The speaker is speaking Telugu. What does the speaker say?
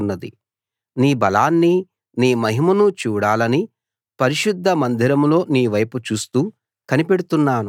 నీ బలాన్ని నీ మహిమను చూడాలని పరిశుద్ధ మందిరంలో నీవైపు చూస్తూ కనిపెడుతున్నాను